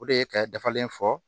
O de ye ka dafalen fɔ